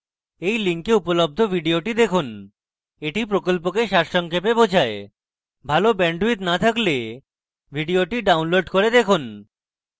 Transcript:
এই link উপলব্ধ video দেখুন এটি প্রকল্পকে সারসংক্ষেপে বোঝায় ভাল bandwidth না থাকলে video download করে দেখুন